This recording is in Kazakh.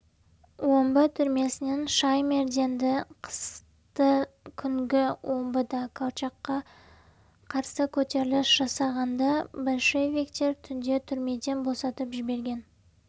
омбы түрмесінен шаймердендерді қысты күнгі омбыда колчакқа қарсы көтеріліс жасағанда большевиктер түнде түрмеден босатып жіберген